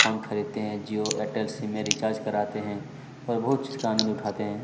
Phone खरीदते है Jio Airtel SIM में रिचार्ज कराते है और बहुत चीज का आनंद उठाते है।